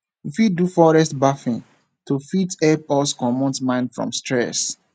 we fit do forest bathing to fit help us comot mind from stress